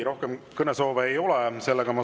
Rohkem kõnesoove ei ole.